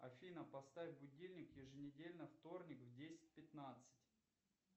афина поставь будильник еженедельно вторник в десять пятнадцать